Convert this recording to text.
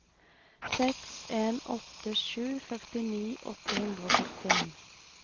seks en åtte sju førtini åtte hundre og førtien